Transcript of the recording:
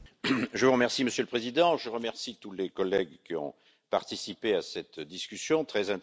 Monsieur le Président, je remercie tous les collègues qui ont participé à cette discussion très intéressante.